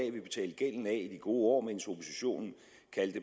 i de gode